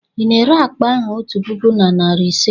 Ị na-ere akpa ahụ otu puku na narị ise?